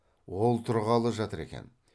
ол тұрғалы жатыр екен